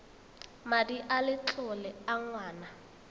madi a letlole a ngwana